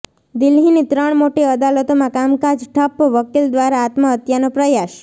દિલ્હીની ત્રણ મોટી અદાલતોમાં કામકાજ ઠપ્પઃ વકિલ દ્વારા આત્મહત્યાનો પ્રયાસ